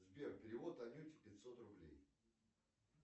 сбер перевод анюте пятьсот рублей